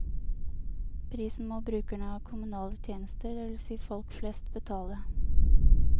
Prisen må brukerne av kommunale tjenester, det vil si folk flest, betale.